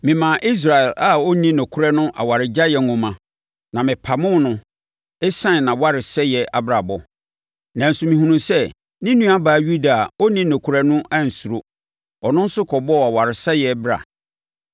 Memaa Israel a ɔnni nokorɛ no awaregyaeɛ nwoma na mepamoo no ɛsiane nʼawaresɛe abrabɔ. Nanso mehunuu sɛ ne nuabaa Yuda a ɔnni nokorɛ no ansuro; ɔno nso kɔbɔɔ awaresɛeɛ bra.